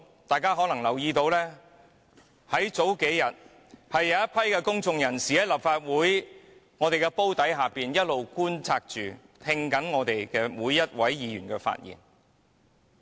大家可能留意到，這數天有一群公眾人士一直在立法會綜合大樓內觀看會議，並聆聽每位議員的發言。